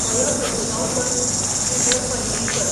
फयो Prabhugaonkar, Shridhar Painginkar